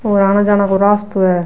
और आने जाने को रास्तो है।